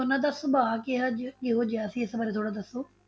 ਉਹਨਾਂ ਦਾ ਸੁਭਾਅ ਕਿਹਾ ਜਿਹਾ ਕਿਹੋ ਜਿਹਾ ਸੀ, ਇਸ ਬਾਰੇ ਥੋੜਾ ਦੱਸੋ।